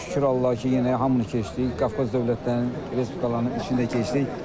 Şükür Allaha ki, yenə hamını keçdik, Qafqaz dövlətlərinin respublikalarının içinə keçdik.